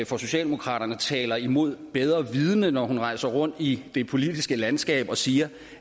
for socialdemokraterne taler imod bedre vidende når hun rejser rundt i det politiske landskab og siger